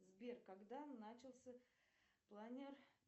сбер когда начался планер